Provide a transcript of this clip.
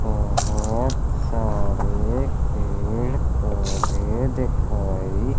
बहुत सारे पेड़ पौधे दिखाई--